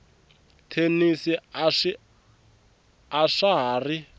thenisi a swa ha ri